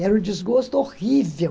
Era um desgosto horrível.